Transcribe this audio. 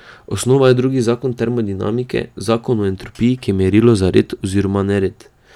Osnova je drugi zakon termodinamike, zakon o entropiji, ki je merilo za red oziroma nered.